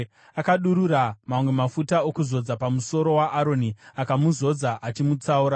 Akadurura mamwe mafuta okuzodza pamusoro waAroni, akamuzodza achimutsaura.